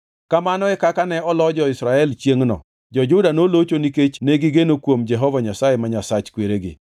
Kamano e kaka ne olo jo-Israel chiengʼno, jo-Juda nolocho nikech negigeno kuom Jehova Nyasaye, ma Nyasach kweregi.